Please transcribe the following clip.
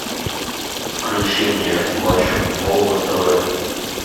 включи мне матч футбол на тв